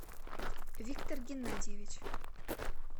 виктор геннадьевич